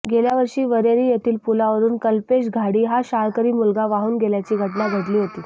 गेल्यावर्षी वरेरी येथील पुलावरून कल्पेश घाडी हा शाळकरी मुलगा वाहून गेल्याची घटना घडली होती